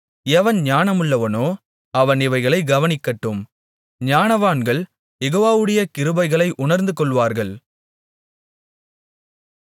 எவன் ஞானமுள்ளவனோ அவன் இவைகளைக் கவனிக்கட்டும் ஞானவான்கள் யெகோவாவுடைய கிருபைகளை உணர்ந்துகொள்வார்கள்